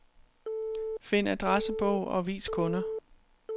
Find adressebog og vis kunder.